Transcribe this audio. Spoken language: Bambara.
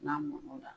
N'a mɔna